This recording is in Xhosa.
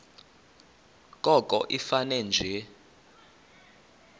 koko ifane nje